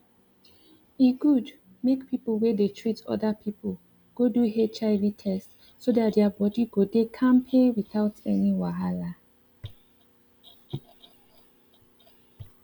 e good make people wey dey treat other people go do hiv test so that their body go dey kampe without any wahala